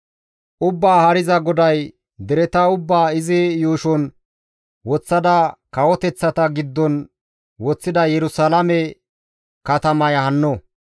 Ubbaa Haariza GODAY, «Dereta ubbaa izi yuushon woththada kawoteththata giddon woththida Yerusalaame katamaya hanno.